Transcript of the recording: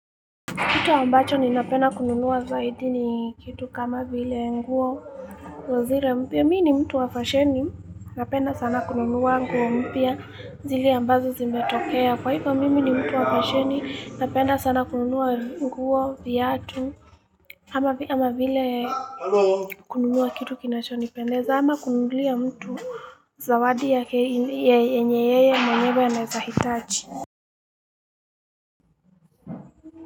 Kitu ambacho ninapenda kununua zaidi ni kitu kama vile nguo. Zile mpya mimi ni mtu wa fasheni napenda sana kununua nguo mpya zile ambazo zimetokea. Kwa hivyo mimi ni mtu wa fasheni napenda sana kununua nguo, viatu. Ama vile kununua kitu kinachonipendeza ama kununulia mtu zawadi yenye yeye mwenyewe anaeza hitaji.